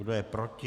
Kdo je proti?